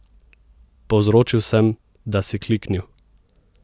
Povzročil sem, da si kliknil!